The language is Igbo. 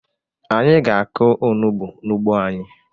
Anyị ga-akụ onugbu n'ugbo anyị.